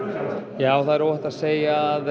já það er óhætt að segja að